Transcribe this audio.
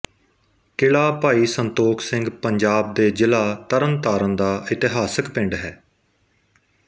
ਕਿਲ੍ਹਾ ਭਾਈ ਸੰਤੋਖ ਸਿੰਘ ਪੰਜਾਬ ਦੇ ਜ਼ਿਲ੍ਹਾ ਤਰਨਤਾਰਨ ਦਾ ਇਤਿਹਾਸਕ ਪਿੰਡ ਹੈ